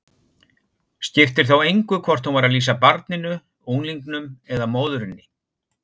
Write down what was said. Skipti þá engu hvort hún var að lýsa barninu, unglingnum eða móðurinni.